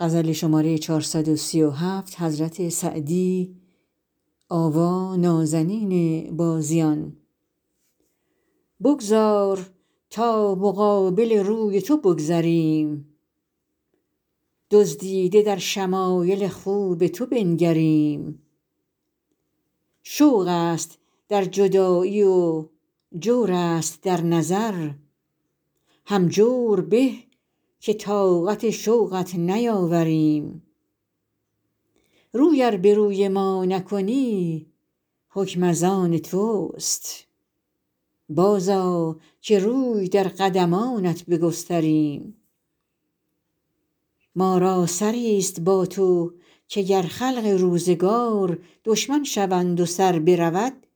بگذار تا مقابل روی تو بگذریم دزدیده در شمایل خوب تو بنگریم شوق است در جدایی و جور است در نظر هم جور به که طاقت شوقت نیاوریم روی ار به روی ما نکنی حکم از آن توست بازآ که روی در قدمانت بگستریم ما را سری ست با تو که گر خلق روزگار دشمن شوند و سر برود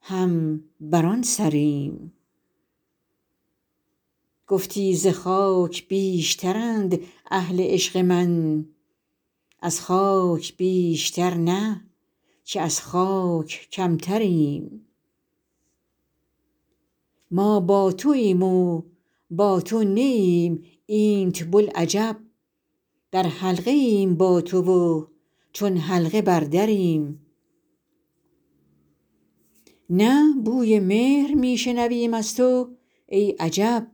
هم بر آن سریم گفتی ز خاک بیشترند اهل عشق من از خاک بیشتر نه که از خاک کمتریم ما با توایم و با تو نه ایم اینت بلعجب در حلقه ایم با تو و چون حلقه بر دریم نه بوی مهر می شنویم از تو ای عجب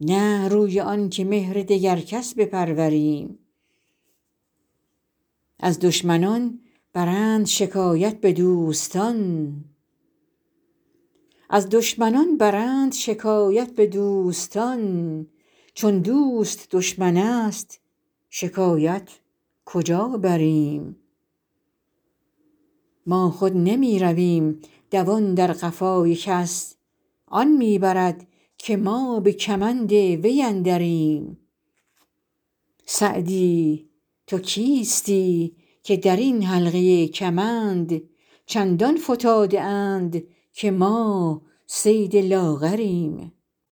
نه روی آن که مهر دگر کس بپروریم از دشمنان برند شکایت به دوستان چون دوست دشمن است شکایت کجا بریم ما خود نمی رویم دوان در قفای کس آن می برد که ما به کمند وی اندریم سعدی تو کیستی که در این حلقه کمند چندان فتاده اند که ما صید لاغریم